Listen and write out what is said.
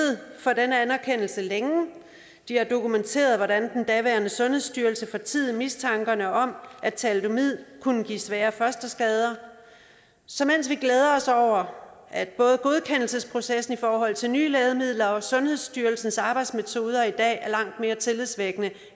for den anerkendelse de har dokumenteret hvordan den daværende sundhedsstyrelse fortiede mistanken om at thalidomid kunne give svære fosterskader så mens vi glæder os over at både godkendelsesprocessen i forhold til nye lægemidler og sundhedsstyrelsens arbejdsmetoder i dag er langt mere tillidsvækkende